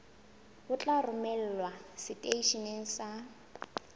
o tla romelwa seteisheneng sa